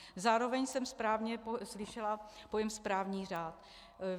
Zároveň jsem správně slyšela pojem správní řád.